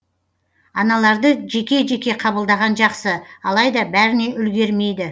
аналарды жеке жеке қабылдаған жақсы алайда бәріне үлгермейді